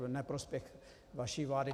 V neprospěch vaší vlády.